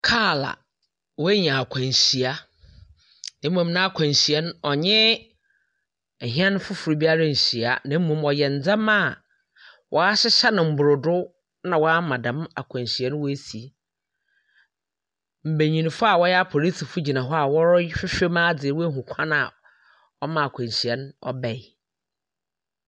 Kaa a wanya akwanhyia, mmom n'akwanhyia no, ɔnye hɛn foforɔ biara anhyia, na mmom ɔyɛ ndzɛma a wɔahyehyɛ no mborodo na wama dɛm akwanhyia no esi. Mbenyimfo a wɔyɛ apolisifoɔ gyina hɔ a wɔrehwehwɛm adze ahunu kwan a ɔmaa akwanhyia no ɔbae.